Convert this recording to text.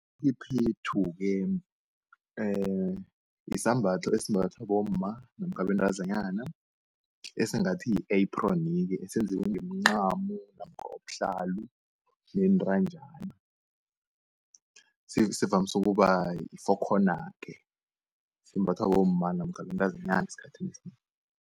Iphephethu-ke yisambatho esimbathwa bomma namkha abentazanyana esingathi yi-aphroni-ke, esenzelwe nemincamo namkha ubuhlalu bentanjana. Sivamsu ukuba yi-four corner-ke, simbathwa bomma namkha abentazinyana esikhathini esinengi.